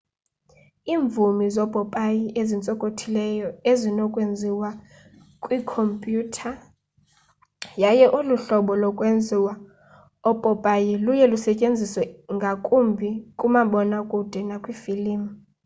iimuvi zoopopayi ezintsokothileyo zinokwenziwa kwiikhomyutha yaye olu hlobo lokwenza oopopayi luye lusetyenziswa ngakumbi kumabonakude nakwiifilimu